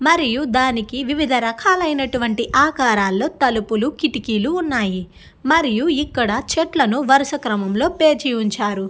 మరియు దానికి వివిధ రకాలైనటువంటి ఆకరాలలో తలుపులు కిటికీలు ఉన్నాయి మరియు ఇక్కడ చెట్లను వరస క్రమం లో పేర్చి ఉంచారు.